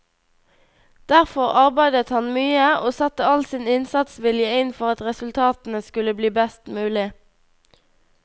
Derfor arbeidet han mye, og satte all sin innsatsvilje inn for at resultatene skulle bli best mulig.